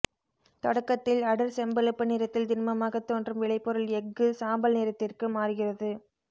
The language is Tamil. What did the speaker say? தொடக்கத்தில் அடர் செம்பழுப்பு நிறத்தில் திண்மமாகத் தோன்றும் விளைபொருள் எஃகு சாம்பல் நிறத்திற்கு மாறுகிறது